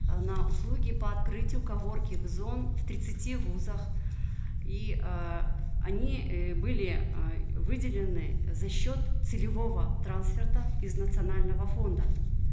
э на услуги по открытию коворкинг зон в тридцати вузах и э они э были э выделены за счет целевого трансферта из национального фонда